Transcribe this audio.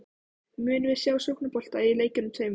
Munum við sjá sóknarbolta í leikjunum tveimur?